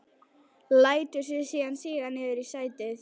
Lætur sig síðan síga niður í sætið.